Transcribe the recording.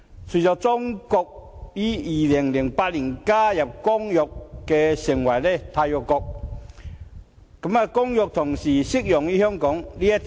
隨着中國於2008年加入《公約》成為締約國，《公約》同時適用於香港。